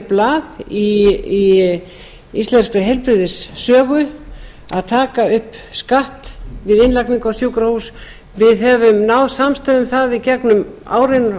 blað í íslenskri heilbrigðissögu að taka upp skatt við innlögn á sjúkrahús við höfum náð samstöðu um það í gegnum árin